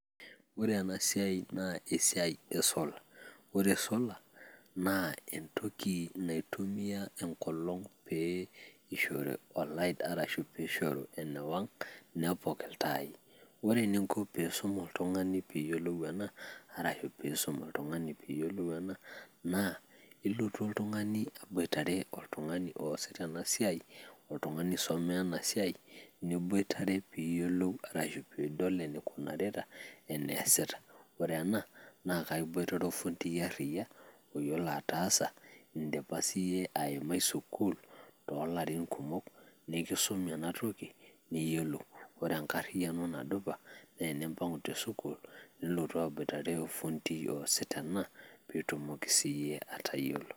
Ore ena siai na esiai esolor, ore solar na entoki naitumia enkolong pee ishoru elight ashu pishoru enewang, nepok iltai, ore enaiko pisum oltungani peyiolou ena, arashu pisum oltungani peyiolou ena, na ilotu oltungani aiboitare oltungani oasita ena siai, oltungani oisomea ena siai niboitare piyiolou ashu pidol enaikunarita ena asita, ore ena na kaiboitare ofundi ariak oyiolo atasa indipa sie aimai sukul, tolarin kumok nikisumi ena toki niyiolou, ore enkriano nadupa na tenimpangu tesukul, nilotu aboitare ofundi ariak osita ena ,pitumoki sie atayiolo.